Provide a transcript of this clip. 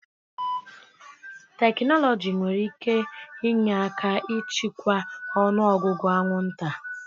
Tekinọloji nwere ike inye aka ịchịkwa ọnụ ọgụgụ anwụnta.